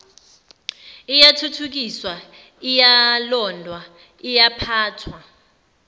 iyathuthukiswa iyalondwa iyaphathwa